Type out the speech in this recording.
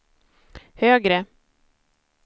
högre